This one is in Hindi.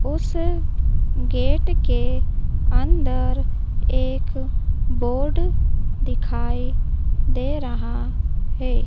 उस गेट के अंदर एक बोर्ड दिखाई दे रहा है।